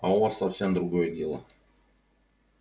а у вас совсем другое дело